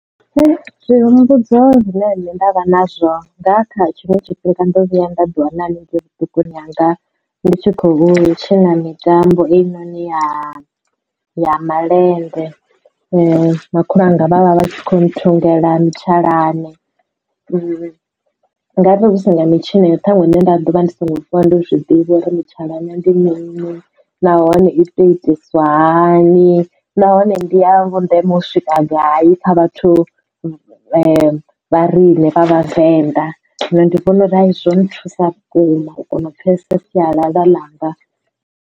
Zwi humbudzo zwine nṋe ndavha nazwo nga kha tshiṅwe tshifhinga ndo vhuya nda ḓi wana haningei vhuṱukuni hanga ndi tshi khou tshina mitambo ine ya ya malende. Makhulu wanga vha vha vha kho nthungela ntshalane ngavhe hu si nga mitshino iyo ṱhaṅwe nne nda ḓovha ndi songo vuwa ndo zwiḓivha uri mutshalane ndi mini nahone i to itiswa hani nahone ndi ya vhundeme swika gai kha vhathu vha vha rine vhavenḓa zwino ndi vhona uri hai izwo zwo nthusa vhukuma u kona u pfhesesa sialala ḽanga.